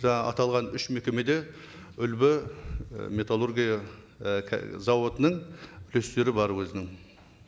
жаңа аталған үш мекемеде үлбі і металлургия і зауытының плюстері бар өзінің